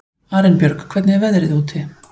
Arinbjörg, hvernig er veðrið úti?